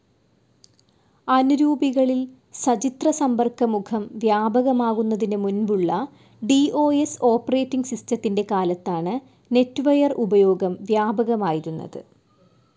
അനുരൂപികളിൽ സചിത്രസമ്പർക്കമുഖം വ്യാപകമാകുന്നതിനു മുൻപുള്ള ഡി ഓ സ്‌ ഓപ്പറേറ്റിങ്‌ സിസ്റ്റത്തിൻ്റെ കാലത്താണ് നെറ്റ്വെയർ ഉപയോഗം വ്യാപകമായിരുന്നത്.